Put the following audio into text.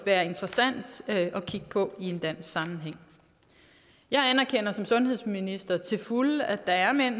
være interessant at kigge på også i en dansk sammenhæng som sundhedsminister til fulde at der er mænd